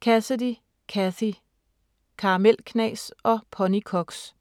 Cassidy, Cathy: Karamelknas og ponykoks